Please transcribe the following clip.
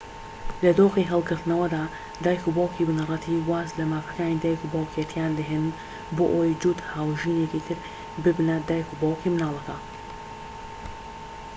لە دۆخی هەڵگرتنەوەدا دایکوباوکی بنەڕەتی واز لەمافەکانی دایکوباوکێتییان دەهێنن بۆ ئەوەی جووت هاوژینێکی تر ببنە دایکوباوکی منداڵەکە